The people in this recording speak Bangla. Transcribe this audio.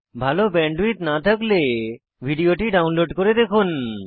ভাল ব্যান্ডউইডথ না থাকলে ভিডিওটি ডাউনলোড করে দেখুন